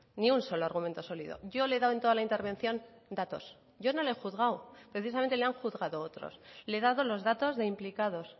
ni un solo argumentos sólido yo le he dado en toda la intervención datos yo no le he juzgado precisamente le han juzgado otros le he dado los datos de implicados